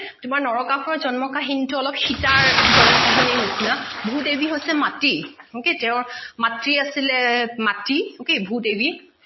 তোমাৰ নৰকাসুৰৰ জন্ম কাহীনি টো অলপ সীতাৰ জন্ম কাহীনিৰ নিচিনা ভূ দেৱী হৈছে মাটি okay তেওঁ মাতৃ আছিলে মাটি okay ভূ দেৱী